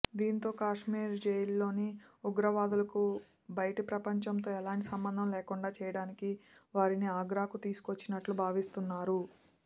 దీంతో కశ్మీర్ జైళ్లోని ఉగ్రవాదులకు బయటి ప్రపంచంతో ఎలాంటి సంబంధం లేకుండా చేయడానికే వారిని ఆగ్రాకు తీసుకొచ్చినట్లు భావిస్తున్నారు